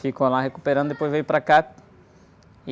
Ficou lá recuperando, depois veio para cá. E...